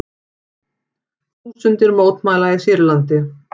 Þúsundir mótmæla í Sýrlandi